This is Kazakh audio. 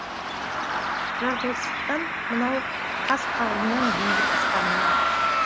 жаратылыстан мынау қас қағымнан бейбіт аспанымнан